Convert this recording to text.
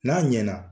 N'a ɲɛna